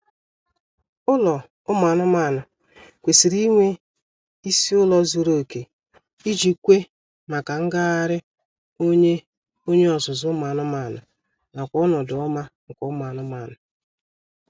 Ụlọ ụmụ anụmaanụ kwesịrị inwe isi ụlọ zuru oke iji kwe maka ngagharị onye onye ọzụzụ ụmụ anụmaanụ nakw ọnọdụ ọma nke ụmụ anụmanụ